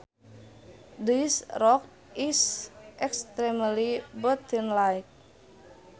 This rock is extremely buttonlike